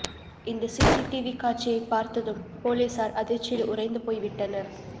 இந்த சிசிடிவி காட்சியை பார்த்ததும் போலீசார் அதிர்ச்சியில் உறைந்து போய்விட்டனர்